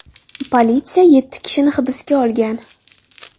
Politsiya yetti kishini hibsga olgan.